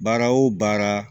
Baara o baara